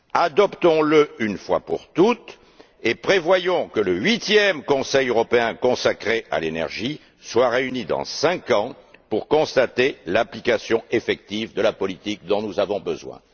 Adoptons le une fois pour toutes et prévoyons que le huitième Conseil européen consacré à l'énergie se réunisse dans cinq ans pour constater l'application effective de la politique dont nous avons besoin.